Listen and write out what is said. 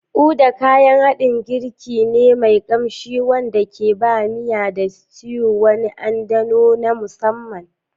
Uda: Kayan haɗin girki ne mai ƙamshi wanda ke ba miya da stew wani anɗano na musamman.